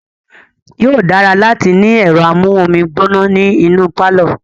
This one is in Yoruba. Yóò dára láti ní ẹ̀rọ amú omi gbóná ní inú pálọ̀.